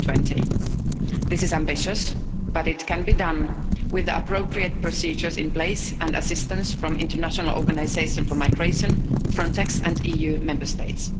of 2020. This is ambitious, but it can be done with the appropriate procedures in place and assistance from international organisations for migration, Frontex, and EU Member States.